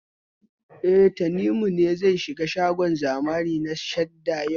E, Tanimu ne zai shiga shagon zamani na Sahad yau.